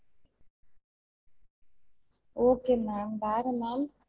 Okay ma'am வேற ma'am